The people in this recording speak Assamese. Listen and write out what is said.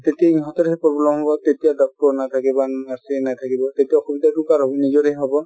তেতিয়া সিহঁতৰহে problem হ'ব, তেতিয়া doctor নাথকিব , nurse য়েই নাথাকিব তেতিয়া অসুবিধাতো কাৰ হ'ব ? নিজৰেই হব |